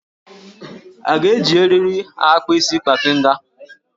A ga-eji eriri akpa isi kpafịnga?